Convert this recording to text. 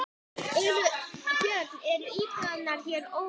Björn: Eru íbúarnir hér ósáttir?